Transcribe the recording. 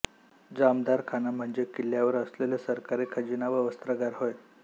जामदारखाना म्हणजे किल्ल्यांवर असलेले सरकारी खजिना व वस्त्रागार होय